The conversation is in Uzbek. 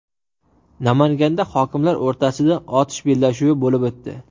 Namanganda hokimlar o‘rtasida otish bellashuvi bo‘lib o‘tdi.